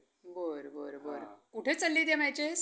बरं बरं बरं. कुठं चालू आहेत या matches?